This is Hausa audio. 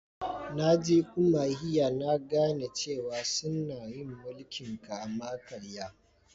Na je Umuahia na gane cewa sunna yin mulki'n kama-karya.